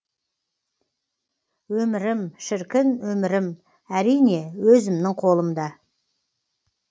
өмірім шіркін өмірім әрине өзімнің қолымда